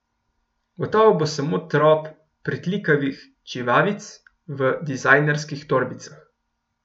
Gotovo bo samo trop pritlikavih čivavic v dizajnerskih torbicah.